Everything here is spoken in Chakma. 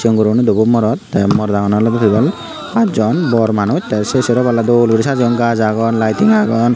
o guriney dobo morot tey morot agondey ole pass jon bor manus tey sero polla dol guri sejeiyun gaas agon lighting agon.